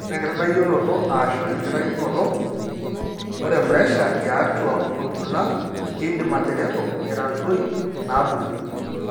Ore enkitadoyioroto (ashu enkitainoto) ore puresha tiatua orkula keidim atereto aitadoi inaapuku.